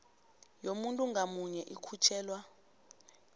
yomuntu ngamunye ikhutjhelwa